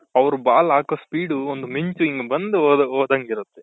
ಅವ್ರು ball ಹಾಕೋ speed ಒಂದು ಮಿಂಚು ಹಿಂಗ್ ಬಂದು ಹೋದಂಗೆ ಇರುತ್ತೆ .